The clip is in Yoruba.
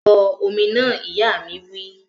Bọ omi náà! Ìyá mi wí